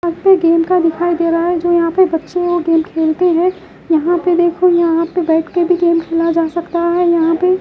यहां पे गेम का दिखाई दे रहा है जो यहां पे बच्चे वो गेम खेलते हैं यहां पे देखो यहां पे बैठ के भी गेम खेला जा सकता है यहां पे --